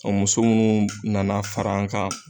Ɔ muso munnu nana fara an kan